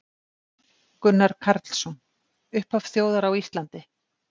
Gunnar Karlsson: Upphaf þjóðar á Íslandi